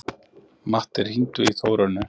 Matti, hringdu í Þórönnu.